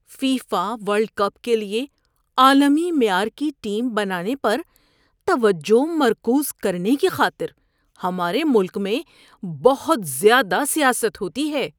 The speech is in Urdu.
فیفا ورلڈ کپ کے لیے عالمی معیار کی ٹیم بنانے پر توجہ مرکوز کرنے کی خاطر ہمارے ملک میں بہت زیادہ سیاست ہوتی ہے۔